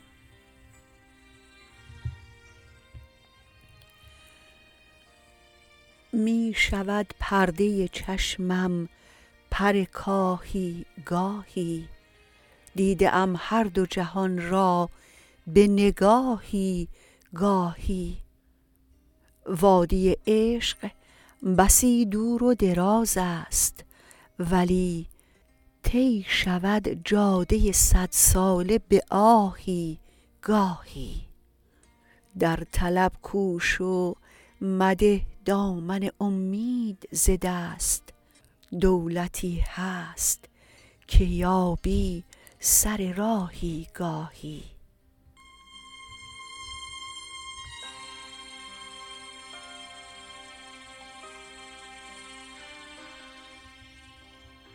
می شود پرده چشمم پر کاهی گاهی دیده ام هردو جهان را به نگاهی گاهی وادی عشق بسی دور و دراز است ولی طی شود جاده صدساله به آهی گاهی در طلب کوش و مده دامن امید ز دست دولتی هست که یابی سر راهی گاهی